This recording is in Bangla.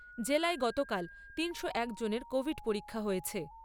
জেলায় গতকাল তিনশো এক জনের কোভিড পরীক্ষা হয়েছে।